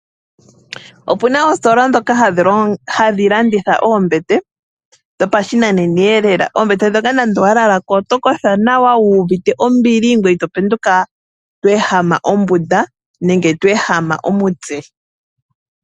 Opuna oositola dhoka hadhilanditha Oombete dhopashinanena lela, oombete dhoka nande owalalako oto kotha nawa wuvite ombili ngweye itopenduka twehama ombunda nenge twehama omutse.